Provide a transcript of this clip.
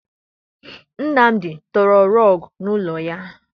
Nnamdi tọrọ rọọgụ n'ọnụ ụlọ ya.